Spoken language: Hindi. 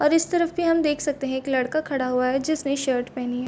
और इस तरफ भी हम देख सकते है एक लड़का खड़ा हुआ है जिसने शर्ट पहनी है।